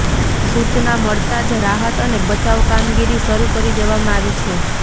સૂચના મળતાં જ રાહત અને બચાવ કામગીરી શરૂ કરી દેવામાં આવી છે